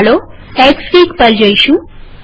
ચાલો એક્સફીગ પર જઈશું